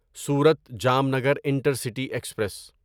صورت Jamnagar intercity express